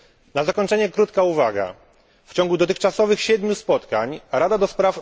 Na zakończenie krótka uwaga w ciągu dotychczasowych siedmiu spotkań Rada ds.